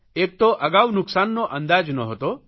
એક તો અગાઉ નુકસાનનો અંદાજ નહોતો